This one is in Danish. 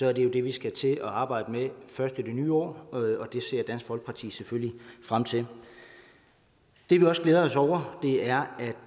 er det jo det vi skal til at arbejde med først i det nye år og det ser dansk folkeparti selvfølgelig frem til det vi også glæder os over er at